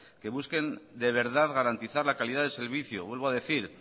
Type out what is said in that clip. que busquen de verdad garantizar la calidad del servicio vuelvo a decir